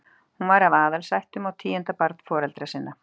Hún var af aðalsættum og tíunda barn foreldra sinna.